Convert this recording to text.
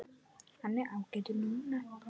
Hann er ágætur núna.